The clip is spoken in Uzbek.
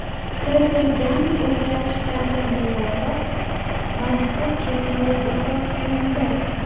Kiritilgan o‘zgartirishlarga muvofiq mazkur cheklov bekor qilindi.